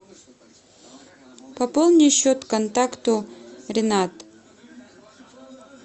пополни счет контакту ренат